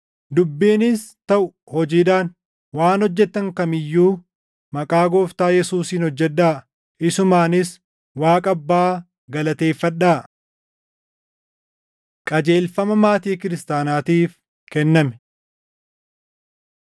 Dubbiinis taʼu hojiidhaan, waan hojjettan kam iyyuu maqaa Gooftaa Yesuusiin hojjedhaa; isumaanis Waaqa Abbaa galateeffadhaa. Qajeelfama Maatii Kiristaanaatiif Kenname 3:18–4:1 kwf – Efe 5:22–6:9